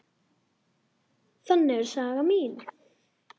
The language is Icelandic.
Þannig er saga mín.